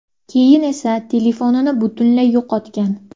Keyin esa telefonini butunlay yo‘qotgan.